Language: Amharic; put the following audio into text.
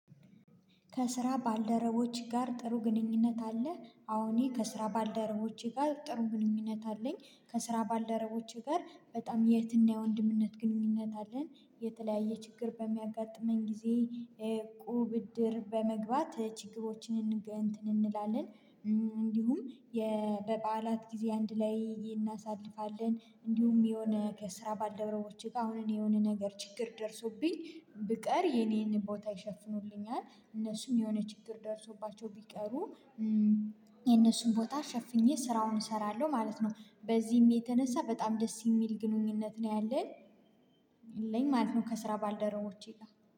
ከስራ ባልደረቦች ጋር ጥሩ ግንኙነት አለ? አዎ ከስራ ባልደረቦቼ ጋር ጥሩ ግንኙነት አለኝ ከስራ ባልደረቦቼ ጋር በጣም የእህትና የወንድምነት ግንኙነት አለን የተለያየ ችግር በሚያጋጥመኝ ጊዜ እቁብ እድር በመግባት ችግሮችን እንትን እንላለን። እንዲሁም በበዓላት ጊዜ አንድ ላይ እናሳልፋለን። እንዲሁም የሆነ ከስራ ባልደረቦቼ ጋር አሁን እኔ የሆነ ነገር ችግር ደርሶብኝ ብቀር የኔን ቦታ ይሸፍኑልኛል እነሱም የሆነ ችግር ደርሶባቸው ቢቀሩ እነሱም ቦታ ሸፍኜ ስራውን እሰራለሁ ማለት ነው። በዚህም የተነሳ በጣም ደስ ሚል ግንኙነት ነው ያለን። የለኝ ማለት ነው። ከስራ ባልደረቦቼ ጋ